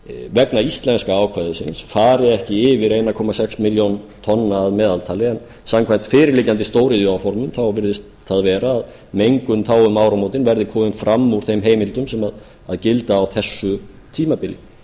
vegna íslenska ákvæðisins fari ekki yfir einn komma sex milljón tonna að meðaltali en samkvæmt fyrirliggjandi stóriðjuáformum virðist það vera að mengun þá um áramótin verði komin fram úr þeim heimildum sem gilda á þessu tímabili